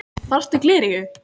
Þarftu gleraugu?